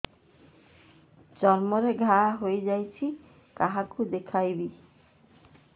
ଚର୍ମ ରେ ଘା ହୋଇଯାଇଛି କାହାକୁ ଦେଖେଇବି